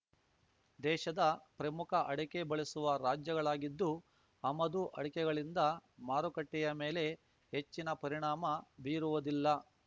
ದೇಶದ ಪ್ರಮುಖ ಅಡಕೆ ಬಳಸುವ ರಾಜ್ಯಗಳಾಗಿದ್ದು ಆಮದು ಅಡಕೆಗಳಿಂದ ಮಾರುಕಟ್ಟೆಯ ಮೇಲೆ ಹೆಚ್ಚಿನ ಪರಿಣಾಮ ಬೀರುವುದಿಲ್ಲ